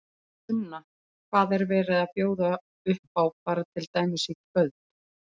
Sunna, hvað er verið að bjóða upp á bara til dæmis í kvöld?